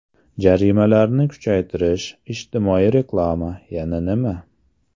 Jarimalarni kuchaytirish, ijtimoiy reklama, yana nima?